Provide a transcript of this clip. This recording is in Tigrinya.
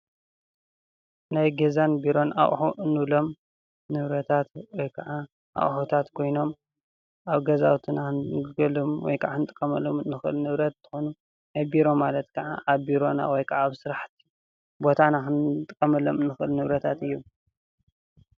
ናይ ገዛን ቢሮ ኣቑሑ እንብሎም ንብረታት ወይ ከዓ ኣቑሑታት ኮይኖም አብ ገዛውትና እንግልግሎም ወይከዓ እንጥቀመሎምን ንክእል ብረታት ኮይኖም፤ ቢሮ ማለት ከዓ ኣብ ቢሮ ወይ ከዓ ኣብ ስራሕ ቦታና ክንጥቀመሎም እንክእል ንብረታት እዮም፡፡